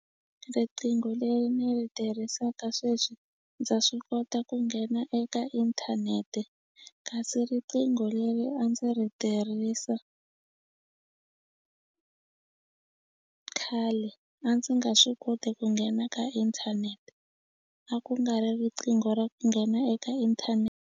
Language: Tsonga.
Riqingho leri ni ri tirhisaka sweswi ndza swi kota ku nghena eka inthanete kasi riqingho leri a ndzi ri tirhisa khale a ndzi nga swi koti ku nghena ka inthanete a ku nga ri riqingho ra nghena eka .